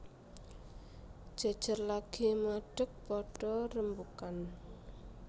Jejer lagi madeg padha rembugan